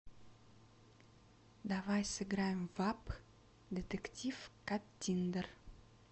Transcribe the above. давай сыграем в апп детектив каттиндер